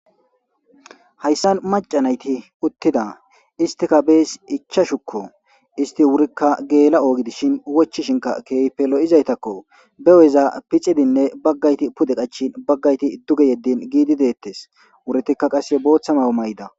hayssan macanayti uttida istika bees ichashukko isti wurikka geela7oogi dishin wochishinka keeypelo7izaytakko beweza picidinne baggayti pude qachin baggayti dduge yeddin giidi deettes wuretikka qasse booththamaw may7da